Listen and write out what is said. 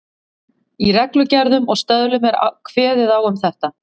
Í reglugerðum og stöðlum er kveðið á um þetta.